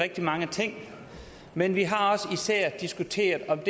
rigtig mange ting men vi har især diskuteret